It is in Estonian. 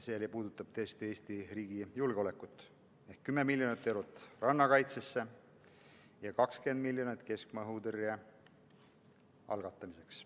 Need puudutavad tõesti Eesti riigi julgeolekut: 10 miljonit eurot rannakaitsesse ja 20 miljonit keskmaa õhutõrje jaoks.